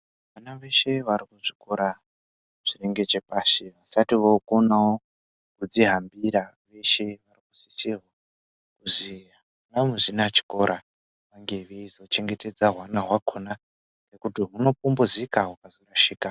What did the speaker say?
Vana veshe varikuchikora zvinenge chepashi vasati vookonawo kudzihambira vanosisirwe kuti anamuzvinachikora vange veizochengetedzawo hwana hwakhona ngekuti hunopumhuzika hukazorashika.